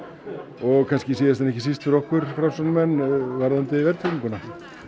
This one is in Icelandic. og kannski síðast en ekki síst fyrir okkur Framsóknarmenn varðandi verðtrygginguna